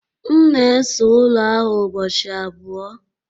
M na-ese ụlọ ahụ ụbọchị abụọ